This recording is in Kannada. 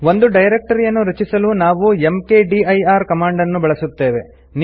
ಒಂದು ಡೈರೆಕ್ಟರಿಯನ್ನು ರಚಿಸಲು ನಾವು ಮ್ಕ್ದಿರ್ ಕಮಾಂಡ್ ಅನ್ನು ಬಳಸುತ್ತೇವೆ